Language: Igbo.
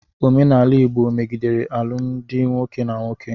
Omenala Igbo megidere alụmdi nwoke na nwoke.